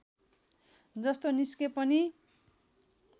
जस्तो निस्के पनि